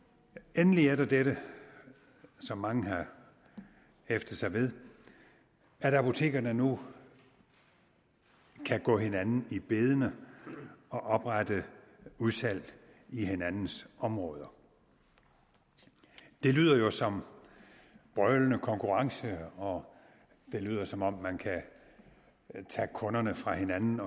endelig er der dette som mange har hæftet sig ved at apotekerne nu kan gå hinanden i bedene og oprette udsalg i hinandens områder det lyder jo som en brølende konkurrence og det lyder som om man kan tage kunderne fra hinanden